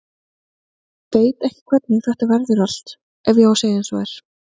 Veit ekki hvernig þetta verður allt ef ég á að segja eins og er.